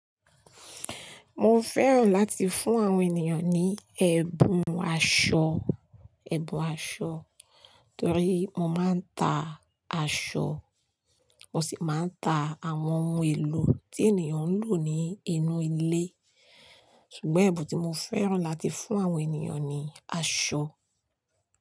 Mo fẹ́ràn láti fún àwọn ènìyàn ní ẹ̀bùn aṣọ, ẹ̀bùn aṣọ torí mo máa ń ta aṣọ, mo sì máa ń ta àwọn ohun èlò tí ènìyàn ń lò ní inú ilé. Ṣùgbọ́n ẹ̀bùn tí mo fẹ́ràn láti fún àwọn ènìyàn ni aṣọ.